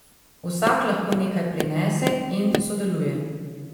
Vsak lahko nekaj prinese in sodeluje.